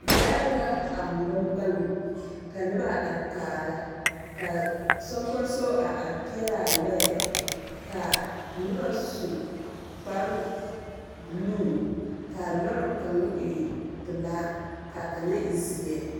Lɔɛ la a ŋmore gaŋ ka noba a are kaara. Ka soŋkoŋso a are peɛlaa lɔɛ, ka noba su kparebuluu, kaa lɔr kaŋ e pelaa kaa kaŋa e zeɛ.